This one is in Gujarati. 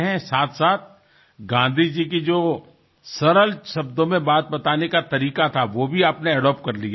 સાથોસાથ ગાંધીજીની જે સરળ શબ્દોમાં વાત કરવાની પદ્ધતિ હતી તેને તમે અપનાવી લીધી છે